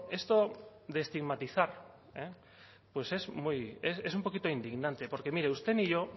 esto de estigmatizar pues es un poquito indignante porque mire ni usted ni yo